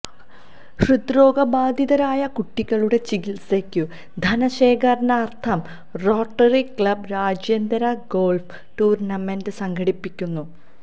ഹൃദ്രോഗ ബാധിതരായ കുട്ടികളുടെ ചികിൽസയ്ക്കു ധനശേഖരണാർത്ഥം റോട്ടറി ക്ലബ് രാജ്യാന്തര ഗോൾഫ് ടൂർണമെന്റ് സംഘടിപ്പിക്കുന്നു